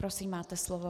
Prosím, máte slovo.